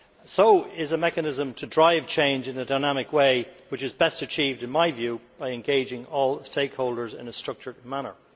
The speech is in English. So is a mechanism to drive change in a dynamic way, which is best achieved, in my view, by engaging all stakeholders in a structured manner.